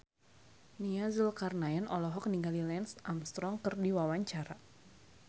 Nia Zulkarnaen olohok ningali Lance Armstrong keur diwawancara